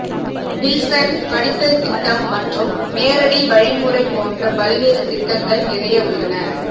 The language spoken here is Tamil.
வில்சன் படித்தல் திட்டம் மற்றும் நேரடி வழிமுறை போன்ற பல்வேறு திட்டங்கள் நிறைய உள்ளன